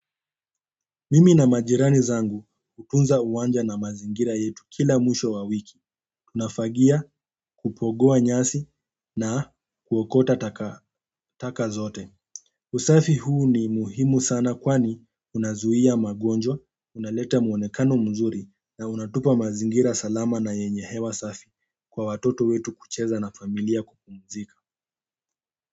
Mimi na majirani zangu hutunza uwanja na mazingira yetu kila mwisho wa wiki. Unafagia kupogoa nyasi na kuokota taka zote. Usafi huu ni muhimu sana kwani unazuia magonjwa, unaleta muonekano mzuri na unatupa mazingira salama na yenye hewa safi kwa watoto wetu kucheza na familia kupumzika.